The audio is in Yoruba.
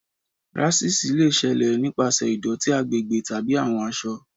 Ráṣísì lè ṣẹlẹ nípasẹ̀ ìdótí agbègbè tàbí àwọn aṣọ.